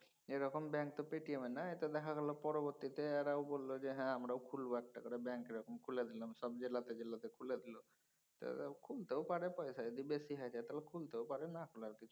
এরকম ব্যাঙ্ক তো পেটিএম এর নাই তো দেখা গেলো পরবর্তীতে এরাও বলল যে হ্যাঁ আমরাও খুলবো একটা করে ব্যাঙ্ক । এরকম খুলে দিলাম সব জেলায় সব জেলাতে খুলে দিল। তারা খুলতেও পারে পয়সায় যদি বেশি হয়ে যায় খুলতেও পারে না খোলার কিছু নাই।